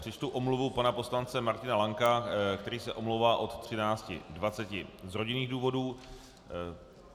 Přečtu omluvu pana poslance Martina Lanka, který se omlouvá od 13.20 z rodinných důvodů.